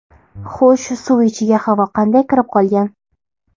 Xo‘sh, suv ichiga havo qanday kirib qolgan?